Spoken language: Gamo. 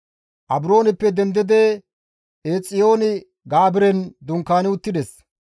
Abrooneppe dendidi Eexiyoon-Gaabiren dunkaani uttides.